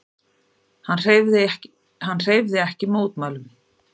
Hann hreyfði ekki mótmælum.